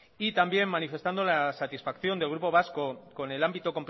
y también manifestando la satisfacción del grupo vasco con el ámbito